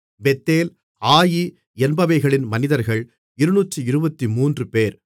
Bethel Ai என்பவைகளின் மனிதர்கள் 223 பேர்